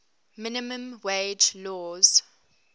minimum wage laws